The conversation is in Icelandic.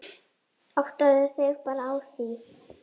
Áttaðu þig bara á því.